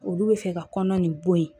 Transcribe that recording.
Olu bɛ fɛ ka kɔnɔ nin bɔ ye